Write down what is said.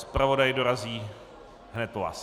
Zpravodaj dorazí hned po vás.